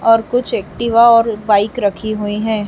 और कुछ एक्टिवा और बाइक रखी हुई है।